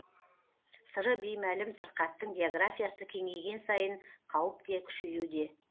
сыры беймәлім сырқаттың географиясы кеңейген сайын қауіп те күшеюде